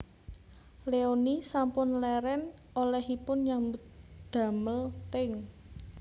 Leony sampun leren olehipun nyambut damel teng